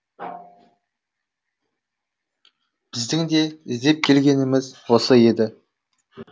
біздің де іздеп келгеніміз осы еді